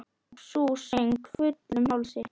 Og sú söng, fullum hálsi!